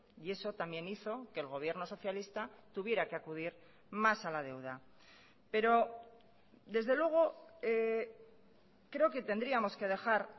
y eso también hizo que el gobierno socialista tuviera que acudir más a la deuda pero desde luego creo que tendríamos que dejar